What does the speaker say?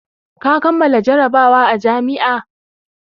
Ka kammala jarabawa a jami'a!